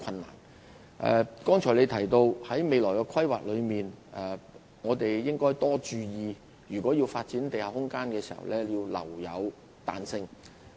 林議員剛才提到在進行未來規劃時，須注意就發展地下空間留有彈性。